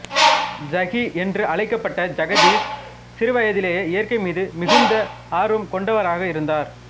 ஜகி என்று அழைக்கப்பட்ட ஜகதீஷ் சிறு வயதிலேயே இயற்கை மீது மிகுந்த ஆர்வம் கொண்டவராக இருந்தார்